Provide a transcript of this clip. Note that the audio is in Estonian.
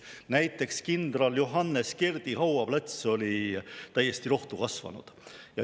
Näiteks kindral Johannes Kerdi hauaplats oli täiesti rohtu kasvanud.